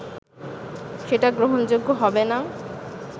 সেটা গ্রহণযোগ্য হবে না